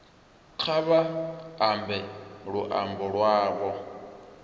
kha vha ambe luambo lwavho